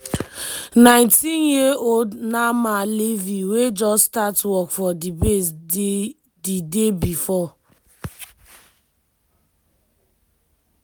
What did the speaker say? nineteen-year-old naama levy wey just start work for di base di day bifor